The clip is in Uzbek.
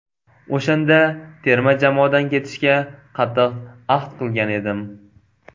O‘shanda terma jamoadan ketishga qattiq ahd qilgan edim.